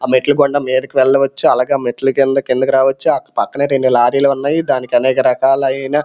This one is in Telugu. ఆ మెట్లు గుండా మీదకి వెళ్ళవచ్చు అలాగే ఆ మెట్ల గుండా కిందకి రావచ్చు ఆ పక్కనే రెండు లారీలు ఉన్నాయి దానికి అనేకరకాలైన--